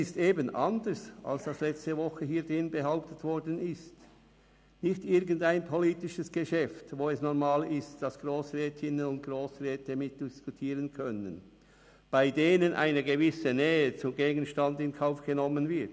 Anders als letzte Woche hier behauptet worden ist, handelt es sich nicht um irgendein politisches Geschäft, bei dem es normal ist, dass Grossrätinnen und Grossräte mitdiskutieren können, bei denen eine gewisse Nähe zum Gegenstand in Kauf genommen wird.